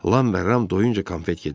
Lam və Ram doyuncə konfet yeddilər.